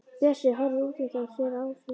Bjössi horfir útundan sér á Ásu.